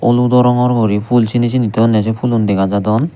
oludo rongor guri phul sini sini toyonne sey phulun dega jadon.